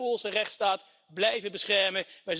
Wij zullen de Poolse rechtsstaat blijven beschermen.